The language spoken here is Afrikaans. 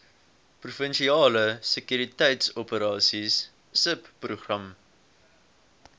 provinsiale sekuriteitsoperasies subprogram